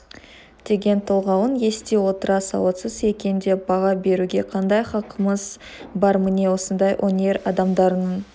деген толғауын ести отыра сауатсыз екен деп баға беруге қандай хақымыз бар міне осындай өнер адамдарының